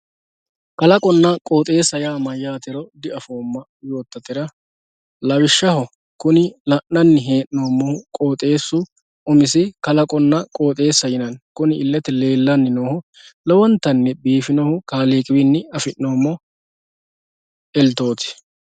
kalaqonna qoxeesa yaa mayaatero di"afooma yootatera lawishshaho kuni la'nanni hee'noomohu qooxeesu umisi kalaqonna qoxeesa yinanni kuni illete leellanni noohu lowontanni biifinohu kaliiqi wiini afi'noomo eltooti.